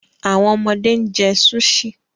Awọn ọmọde n jẹ Sushi